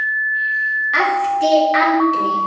æpti Andri.